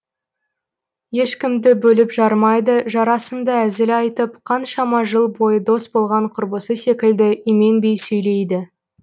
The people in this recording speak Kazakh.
ешкімді бөліп жармайды жарасымды әзіл айтып қаншама жыл бойы дос болған құрбысы секілді именбей сөйлейді